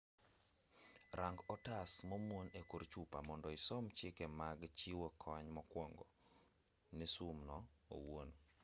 rang otas momuon e kor chupa mondo isom chike mag chiwo kony mokwongo ne sum no owuon